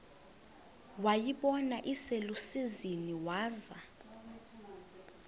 wayibona iselusizini waza